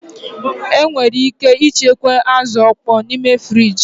Enwere ike ịchekwa azụ̀ ọkpọọ n'ime friji